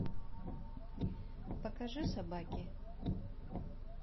покажи собаки